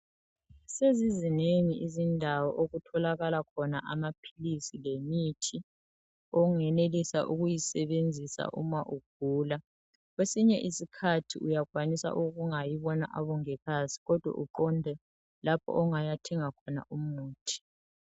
Sezizinengi izindawo okutholakala khona amaphilisi lemithi ongenelisa ukuyisebenzisa uma ugula kwesinye isikhathi uyakwanisa ukungayi bona abongikazi kodwa uqonde lapho ongayathenga khona umuthi.